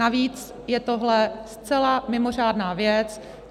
Navíc je tohle zcela mimořádná věc.